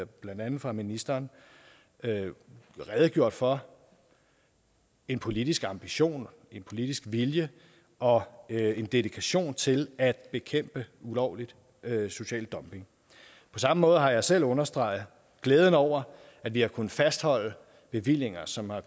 blandt andet af ministeren er redegjort for en politisk ambition en politisk vilje og en dedikation til at bekæmpe ulovlig social dumping på samme måde har jeg selv understreget glæden over at vi har kunnet fastholde bevillinger som har